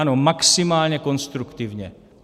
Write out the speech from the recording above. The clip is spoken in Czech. Ano, maximálně konstruktivně.